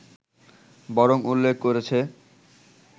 বরং উল্লেখ করেছে